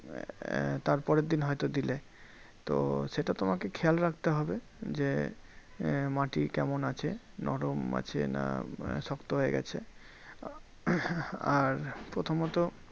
আহ তারপরের দিন হয়তো দিলে। তো সেটা তোমাকে খেয়াল রাখতে হবে যে, আহ মাটি কেমন আছে? নরম আছে না শক্ত হয়ে গেছে। আর প্রথমত